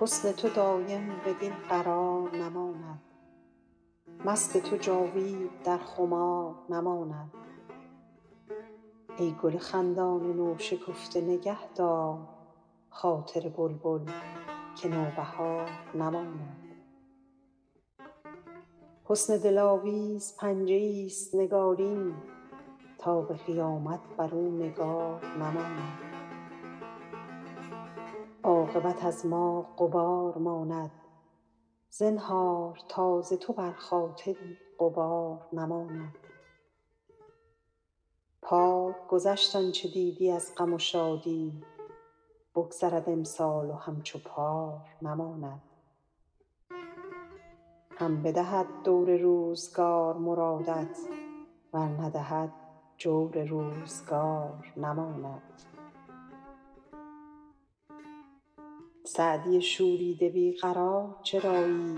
حسن تو دایم بدین قرار نماند مست تو جاوید در خمار نماند ای گل خندان نوشکفته نگه دار خاطر بلبل که نوبهار نماند حسن دلاویز پنجه ایست نگارین تا به قیامت بر او نگار نماند عاقبت از ما غبار ماند زنهار تا ز تو بر خاطری غبار نماند پار گذشت آن چه دیدی از غم و شادی بگذرد امسال و همچو پار نماند هم بدهد دور روزگار مرادت ور ندهد دور روزگار نماند سعدی شوریده بی قرار چرایی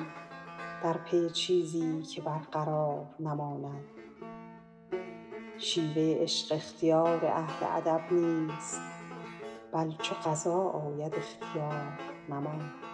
در پی چیزی که برقرار نماند شیوه عشق اختیار اهل ادب نیست بل چو قضا آید اختیار نماند